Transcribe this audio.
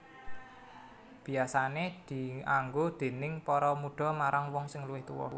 Biasané dianggo déning para mudha marang wong sing luwih tuwa